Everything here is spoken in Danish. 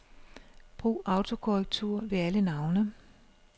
Brug autokorrektur ved alle navne.